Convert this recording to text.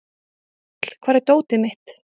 Þöll, hvar er dótið mitt?